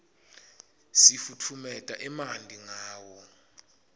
sifutfumeta emanti ngawo